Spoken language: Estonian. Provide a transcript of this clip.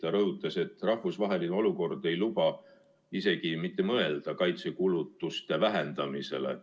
Ta rõhutas, et rahvusvaheline olukord ei luba isegi mitte mõelda kaitsekulutuste vähendamisele.